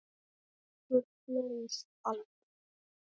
Okkur leiðist aldrei!